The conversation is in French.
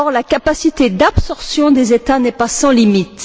Or, la capacité d'absorption des États n'est pas sans limite.